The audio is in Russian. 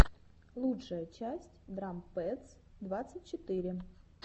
лучшая часть драм пэдс двадцать четыре